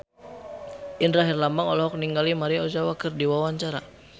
Indra Herlambang olohok ningali Maria Ozawa keur diwawancara